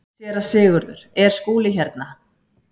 SÉRA SIGURÐUR: Er Skúli hérna?